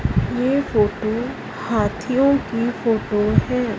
ये फोटो हाथियों की फोटो है।